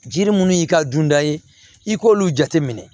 Jiri munnu y'i ka dunda ye i k'olu jate minɛ